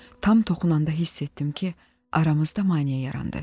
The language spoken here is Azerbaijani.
Tam toxunanda hiss etdim ki, aramızda maneə yarandı.